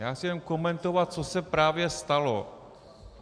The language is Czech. Já chci jen komentovat, co se právě stalo.